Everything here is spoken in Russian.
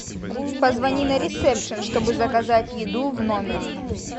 позвони на ресепшн чтобы заказать еду в номер